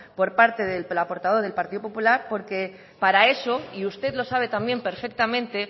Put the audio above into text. por parte de la portavoz del partido popular porque para eso y usted lo sabe también perfectamente